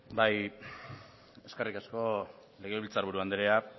bai eskerrik asko legebiltzar buru andrea